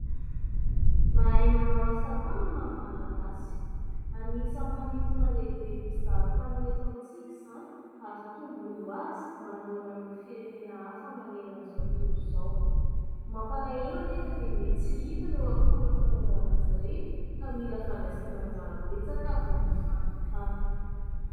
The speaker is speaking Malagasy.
Mahay manao asa tanana ny Malagasy. Anisany manintona lehibe ny mpizahantany ho eto amintsika izany ary tombony ho azy manoloana ireo firenena hafa manerana izao tontolo izao. Mampalahelo anefa dia miha tsy hita ireo akora fanaovana azy ireny ka mila fandraisana anjara betsaka avy amin'ny fanjakana.